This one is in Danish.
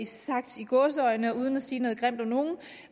sagt i gåseøjne og uden at sige noget grimt om nogen